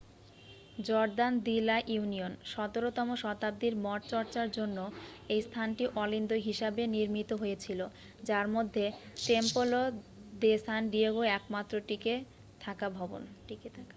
Jordan de la Union 17 তম শতাব্দীর মঠচর্চার জন্য এই স্থানটি অলিন্দ হিসাবে নির্মিত হয়েছিল যার মধ্যে টেম্পলো দে সান ডিয়েগো একমাত্র টিকে থাকা ভবন